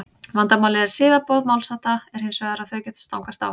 vandamálið við siðaboð málshátta er hins vegar að þau geta stangast á